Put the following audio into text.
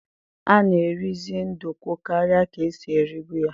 A na eri zi ndukwu karịa ka esi eribu ya